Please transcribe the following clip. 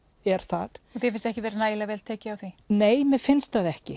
er þar þér finnst ekki vera nægilega vel tekið á því nei mér finnst það ekki